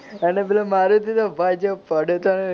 અને પેલો મારુતિ તો પાછો પડ્યો તો ને.